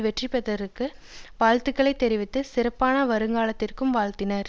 வெற்றி பெற்றதற்கு வாழ்த்துக்களை தெரிவித்து சிறப்பான வருங்காலத்திற்கும் வாழ்த்தினார்